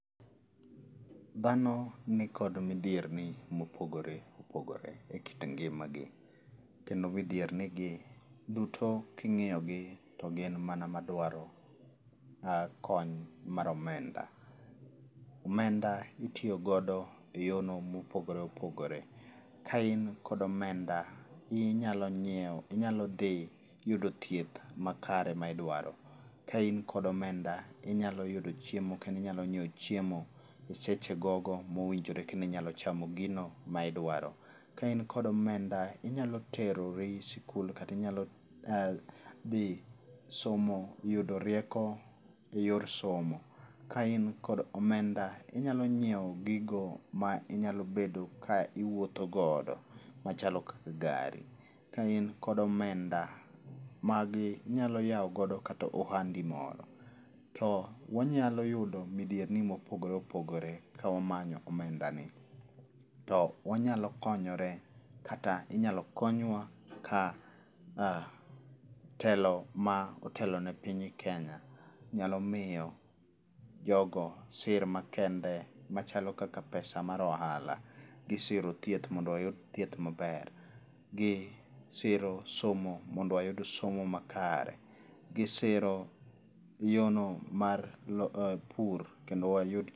Dhano ni kod midhierni mopogore opogore e kit ngimagi, kendo midhierni gi duto king'iyogi duto to gin mana madwaro kony mar omenda. Omenda itiyogodo e yorno mopogore opogore. Kain kod omenda, inyalo nyiewo, inyalo dhi yudo thieth makare ma idwaro. Kain kod omenda inyalo yudo chiemo kendo inyalo nyiewo chiemo e seche gogo mowinjore kendo inyalo chamo gino maidwaro. Kain kod omenda, inyalo terori skul kata inyalo dhi somo yudo rieko e yor somo. Kain kod omenda, inyalonyiewo gigo ma inyalo bedo ka iwuothogodo machalo kaka gari. Kain kod omenda, magi inyalo yawogo kata ohandi moro. To wanyalo yudo midhierni mopogore opogore kawamanyo omendani. To wanyalo konyore kata inyalo konywa ka telo ma otelo ne piny Kenya nyalo miyo jogo sir makende kaka pesa mar ohala. Gisiro thieth mondo wayud thieth maber, gisiro somo mondo wayud somo makare, gisiro yono mar pur kendo wayud.